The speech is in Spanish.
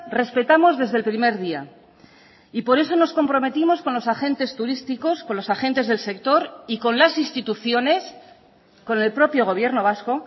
respetamos desde el primer día y por eso nos comprometimos con los agentes turísticos con los agentes del sector y con las instituciones con el propio gobierno vasco